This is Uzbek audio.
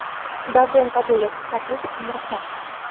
Davron Kabulov, taklif uchun rahmat.